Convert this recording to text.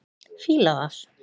Fíla það.